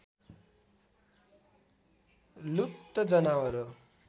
लुप्त जनावर हो